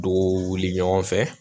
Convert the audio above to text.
Dugu wuli ɲɔgɔn fɛ